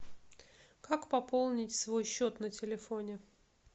как пополнить свой счет на телефоне